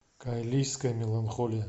кайлийская меланхолия